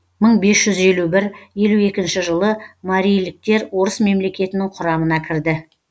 мың бес жүз елу бір елу екінші жылы мариліктер орыс мемлекетінің құрамына кірді